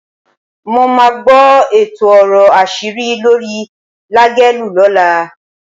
Mo máa gbọ́ èto ọ̀rọ̀ àṣírí lórí Lágelú lọ́la.